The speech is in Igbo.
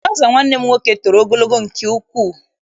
Traụza nwanne m nwoke toro ogologo nke ukwuu.